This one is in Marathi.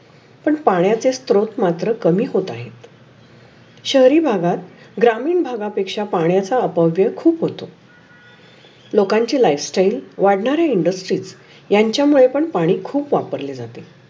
पण पाण्याचे स्त्रोत मात्र कामी होत आहेत. शहरी भागात ग्रामीण भागा पेक्षा पण्याचा अपव्य खूप होतो. लोकांचे लाईफ स्टाइल वाढनारे इंडस्ट्री यांच्या मुळे पण पाणी खुप वापरले जाते.